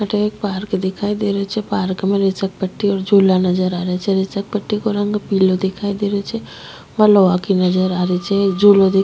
अठे एक पार्क दिखाई दे रो छे पार्क में तिसल पट्टी और झूला नजर आ रिया छे तिसल पट्टी को रंग पिलो दिखाई दे रो छे वा लोहा की नजर आ रही छे एक झूलो दिखाई--